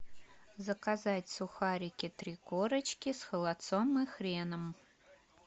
заказать сухарики три корочки с холодцом и хреном